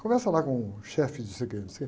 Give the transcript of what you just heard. Conversa lá com o chefe de se...